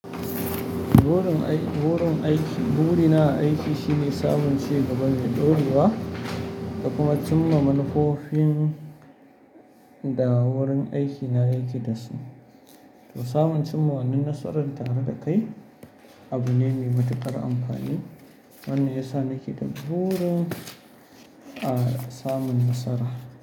Burin aiki, burin aiki. Burina aiki shine sabon ci gaba mai ɗorewa da kuma cimma manufofin da wurin aikina yake dasu. To samun cimma wannan nasaran tare da kai abu ne mai matuƙar amfani wanda ya sa nake da burin, samun nasara.